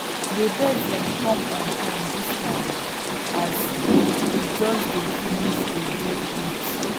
dey birds dem come on time dis time as we just dey finish to dig heaps